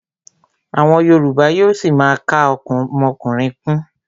Àwọn yorùbá yóó ṣima ka ọmọkùnrin kún.